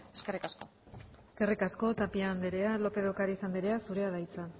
eskerrik asko eskerrik asko tapia andrea lópez de ocariz andrea zurea da hitza